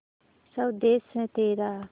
स्वदेस है तेरा